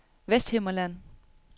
Vesthimmerland